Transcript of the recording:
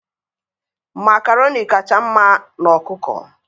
makaroni kacha mma n' ọkụkọ.